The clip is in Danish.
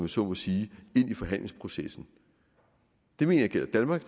så må sige ind i forhandlingsprocessen det mener jeg gælder danmark